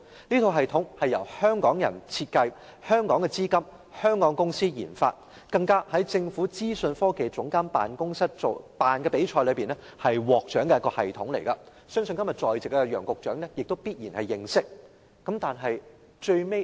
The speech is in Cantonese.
這套系統由香港人設計，資金來自香港，由香港公司研發，更是在政府資訊科技總監辦公室舉辦的比賽中獲獎的系統，相信今天在席的楊局長也必然認識。